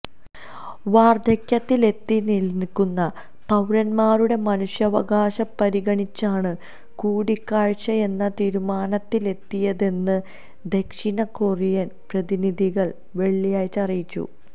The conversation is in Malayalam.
വാർധക്യത്തിലെത്തിനിൽക്കുന്ന പൌരന്മാരുടെ മനുഷ്യാവകാശം പരിഗണിച്ചാണ് കൂടിക്കാഴ്ചയെന്ന തീരുമാനത്തിലെത്തിയതെന്ന് ദക്ഷിണ കൊറിയൻ പ്രതിനിധികൾ വെള്ളിയാഴ്ച അറിയിച്ചു